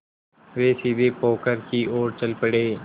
वे सीधे पोखर की ओर चल पड़े